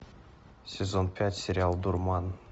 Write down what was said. сезон пять сериал дурман